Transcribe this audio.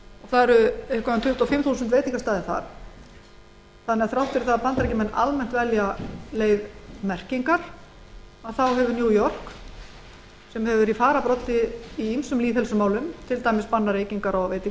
það eru eitthvað um tuttugu og fimm þúsund veitingastaðir í new york og þrátt fyrir að bandaríkjamenn almennt velji leið merkingar hafa heilbrigðisyfirvöld í new york verið í fararbroddi í ýmsum lýðheilsumálum sem þessum þau hafa bannað reykingar á veitinga og